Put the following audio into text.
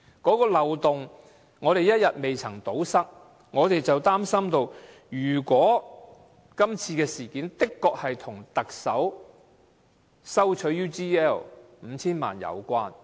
這個漏洞一天不能堵塞，我們便擔心今次事件的確跟特首收取 UGL 5,000 萬元有關。